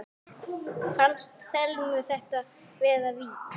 Fannst Thelmu þetta vera víti?